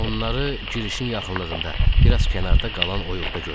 Onları girişin yaxınlığında, biraz kənarda qalan oyuqda gördük.